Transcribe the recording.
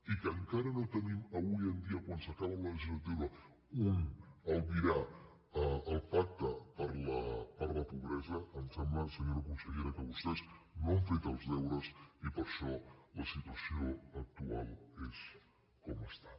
i que encara no tenim avui dia quan s’acaba la legislatura un albirar el pacte per la pobresa em sembla senyora consellera que vostès no han fet els deures i per això la situació actual és com està